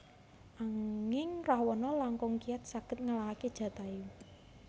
Anging Rawana langkung kiyat saged ngalahaken Jatayu